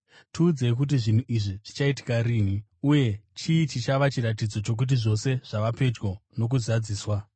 “Tiudzei, kuti zvinhu izvi zvichaitika rini? Uye chii chichava chiratidzo chokuti zvose zvava pedyo nokuzozadziswa?”